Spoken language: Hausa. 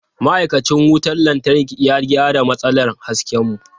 Ma'aikacin wutar lantarki ya gyara matsalar hasken mu.